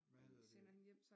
Hvad hedder det